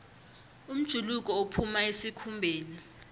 umjuluko uphuma esikhumbeni